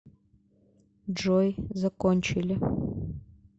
джой закончили